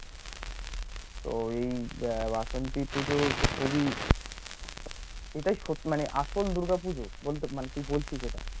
এটাই সৎ মানে আসল দূর্গা পুজো? বলতে তুই বলছিস এটা